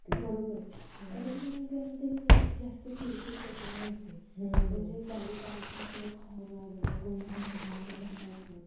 जास्त चिडते चिडचिड त्याच्यामुळे होते म्हणजे गाडी चालवताना सतत Horn वाजवणे गोंधळ घालणं गोंगाट असणे